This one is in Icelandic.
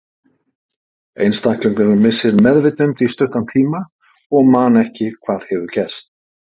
Einstaklingurinn missir meðvitund í stuttan tíma og man ekki hvað hefur gerst.